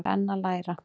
Er enn að læra